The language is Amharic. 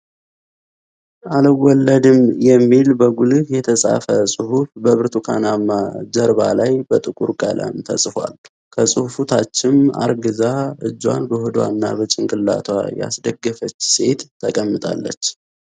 አልወለድም የሚል በጉልህ የተጻፈ ጽሁፍ በብርቱካናማ ጀርባ ላይ በጥቁር ቀለም ተጽፏል። ከጽሁፉ ታችም አርግዛ እጇን በሆዷ እና በጭንቅላቷ ያስደገፈች ሴት ተቀምጣለች።